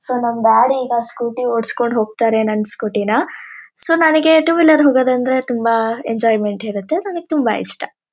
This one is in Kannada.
ಸೋ ನಮ್ ಡ್ಯಾಡಿ ಈಗ ಸ್ಕೂಟಿ ಒಡ್ಸ್ಕೊಂಡ್ ಹೋಗ್ತಾರೆ ನನ್ ಸ್ಕೂಟಿನ ಸೋ ನಾನಿಗ್ ಟು ವೀಲರ್ ಅಲ್ಲಿ ಹೋಗದಂದ್ರೆ ತುಂಬಾನೇ ಎಂಜಾಯ್ಮೆಂಟ್ ಇರುತ್ತೆ ನಾನಿಗ್ ತುಂಬಾ ಇಷ್ಟ.